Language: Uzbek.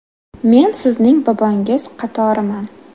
Men sizning bobongiz qatoriman.